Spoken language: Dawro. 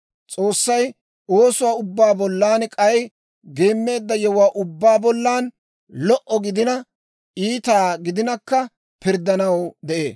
S'oossay oosuwaa ubbaa bollan, k'ay geemmeedda yewuwaa ubbaa bollan, lo"a gidina, iita gidinakka pirddanaw de'ee.